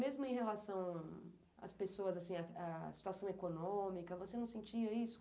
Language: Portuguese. Mesmo em relação às pessoas, assim, a à situação econômica, você não sentia isso?